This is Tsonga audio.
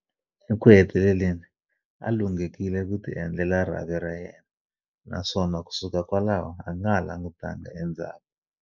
Eku heteleleni, a lunghekile ku tiendlela rhavi ra yena, naswona kusuka kwalaho a nga ha langutangi endzhaku.